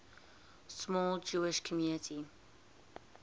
small jewish community